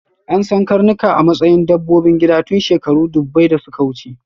An san karnuka a matsayin dabbobin gida tun shekaru ɗubbai da suka wuce.